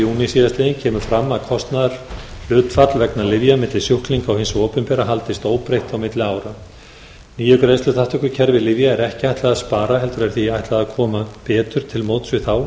júní síðastliðinn kemur fram að kostnaðarhlutfall vegna lyfja og sjúklinga hins opinbera haldist óbreytt á milli ára nýju greiðsluþátttökukerfi lyfja er ekki ætlað að spara heldur er því ætlað að koma betur til móts við þá